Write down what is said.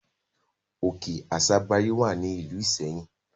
Òkè Àsabàrí wà ní ìlú Ìṣẹ́yìn.